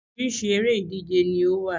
Orísirísi eré ìdíje ni ó wà